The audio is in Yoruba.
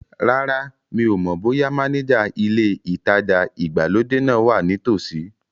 Rárá, mi ò mọ̀ bóyá mánéjà ilé ìtajà ìgbàlódé náà wa ní tòsí